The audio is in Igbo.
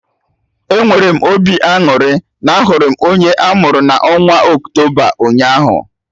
Enwere m obi aṅụrị na ahụrụ m onye amuru na onwa Octoba ụnyaahụ